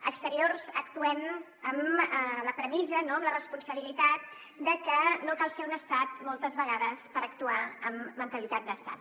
a exteriors actuem amb la premissa amb la responsabilitat de que no cal ser un estat moltes vegades per actuar amb mentalitat d’estat